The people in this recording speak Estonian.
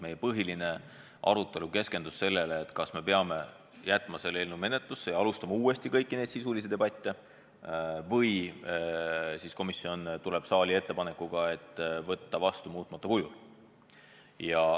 Meie põhiline arutelu keskendus sellele, kas me peame jätma selle seaduse menetlusse ja alustama uuesti kõiki sisulisi debatte või siis komisjon tuleb saali ettepanekuga võtta seadus vastu muutmata kujul.